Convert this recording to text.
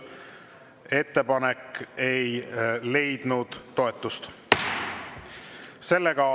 Ettepanek ei leidnud toetust.